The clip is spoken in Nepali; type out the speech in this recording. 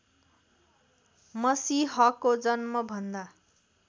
मसीहको जन्मभन्दा